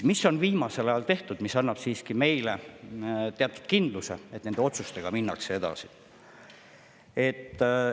Mida on viimasel ajal tehtud, mis annab meile siiski teatud kindluse, et nende otsustega minnakse edasi?